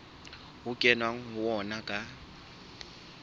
ho kenweng ho ona ka